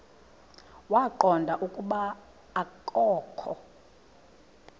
waqonda ukuba akokho